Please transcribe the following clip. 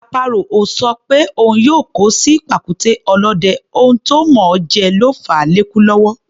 Àparò ò sọ pé òun yóò kó sí pàkúté ọ̀lọ́dẹ, ohun tó mọ̀ọ́ jẹ ló fàá lékú lọ́wọ́.